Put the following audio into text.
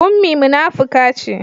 Ummi munafuka ce